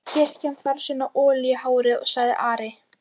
Kirkjan þarf sína olíu í hárið, sagði Ari.